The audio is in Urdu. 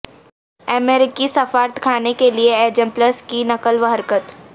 امریکی سفارتخانے کے لئے ایجیمپلس کی نقل و حرکت